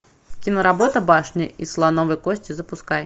киноработа башня из слоновой кости запускай